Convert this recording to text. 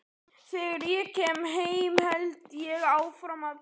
Þegar ég kem heim held ég áfram að drekka.